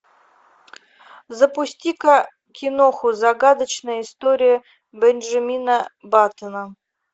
запусти ка киноху загадочная история бенжамина баттона